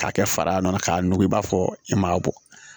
K'a kɛ fara k'a nugu i b'a fɔ e m'a bɔ